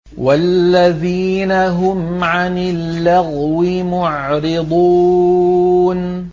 وَالَّذِينَ هُمْ عَنِ اللَّغْوِ مُعْرِضُونَ